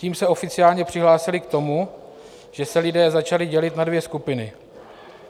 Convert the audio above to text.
Tím se oficiálně přihlásily k tomu, že se lidé začali dělit na dvě skupiny.